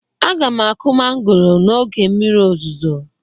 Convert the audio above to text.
Aga m akụ mangoro n'oge mmiri ozuzo